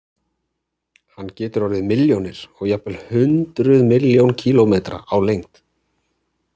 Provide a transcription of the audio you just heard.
Hann getur orðið milljónir og jafnvel hundruð milljóna kílómetra á lengd.